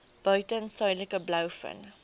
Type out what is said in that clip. buiten suidelike blouvin